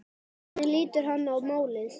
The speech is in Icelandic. Hvernig lítur hann á málið?